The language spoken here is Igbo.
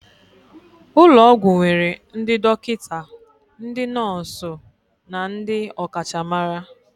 Ụlọ ọgwụ nwere ndị dọkịta, ndị nọọsụ na ndị ọkachamara